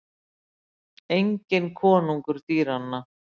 Enginn konungur dýranna.